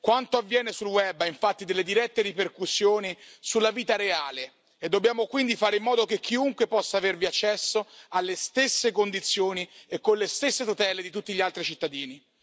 Quanto avviene sul web ha infatti delle dirette ripercussioni sulla vita reale e dobbiamo quindi fare in modo che chiunque possa avervi accesso alle stesse condizioni e con le stesse tutele di tutti gli altri cittadini.